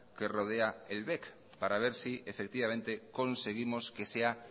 que rodea el bec para ver si conseguimos que sea